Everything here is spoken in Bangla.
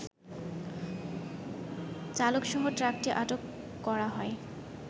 চালকসহ ট্রাকটি আটক করা হয়